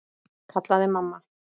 kallaði mamma.